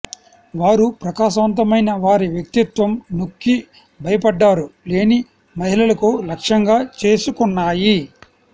వారు ప్రకాశవంతమైన వారి వ్యక్తిత్వం నొక్కి భయపడ్డారు లేని మహిళలకు లక్ష్యంగా చేసుకున్నాయి